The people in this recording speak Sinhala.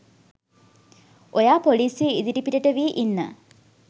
ඔයා පොලිසිය ඉදිරිපිටට වී ඉන්න